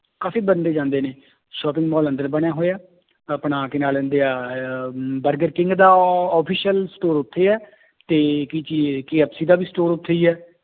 ਕਾਫ਼ੀ ਬੰਦੇ ਜਾਂਦੇ ਨੇ shopping ਮਾਲ ਅੰਦਰ ਬਣਿਆ ਹੋਇਆ ਆਪਣਾ ਕੀ ਨਾਂ ਲੈਂਦੇ ਹੈ ਆਹ ਬਰਗਰ ਕਿੰਗ ਦਾ official store ਉੱਥੇ ਹੈ ਤੇ ਕੀ ਚੀਜ਼ KFC ਦਾ ਵੀ store ਉੱਥੇ ਹੀ ਹੈ